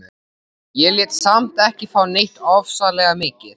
Ég lét þá samt ekki fá neitt ofsalega mikið.